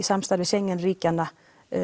samstarfi Schengen ríkjanna